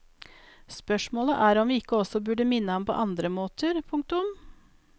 Spørsmålet er om vi ikke også burde minne ham på andre måter. punktum